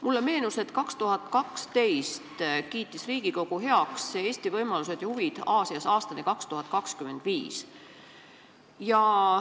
Mulle meenus, et 2012. aastal kiitis Riigikogu heaks dokumendi "Eesti võimalused ja huvid Aasias aastani 2025".